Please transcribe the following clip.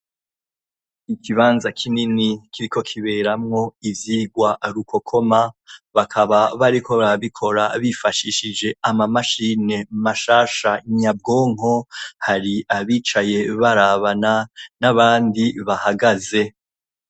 Ikibanza kinini kiriko kiberamwo ivyigwa rukokoma, bakaba bariko barabikora bifashishije amamashine mashasha nyabwonko, hari abicaye barabana n'abandi bahagaze.